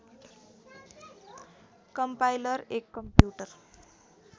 compiler एक computer